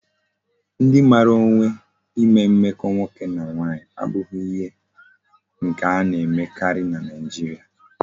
Ndi mara onwe ime mmeko nwoke na nwanyi abughi ihe nke a na emekari na Nigeria